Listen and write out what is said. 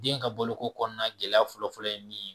Den ka balo ko kɔnɔna gɛlɛya fɔlɔ fɔlɔ ye min ye